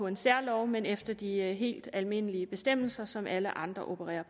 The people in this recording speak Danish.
en særlov men efter de helt almindelige bestemmelser som alle andre opererer